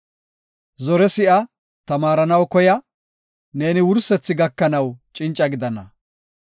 Zore si7a; tamaaranaw koya; neeni wursethi gakanaw cinca gidana.